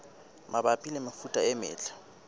mabapi le mefuta e metle